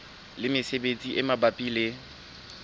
le mesebetsi e mabapi le